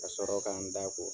Ka sɔrɔ ka n da ko.